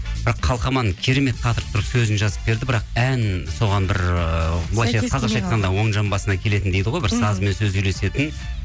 бірақ қалқаман керемет қатырып тұрып сөзін жазып берді бірақ ән соған бір ыыы былайынша қазақша айтқанда оң жамбасынан келетін дейді ғой бір сазы мен сөзі үйлесетін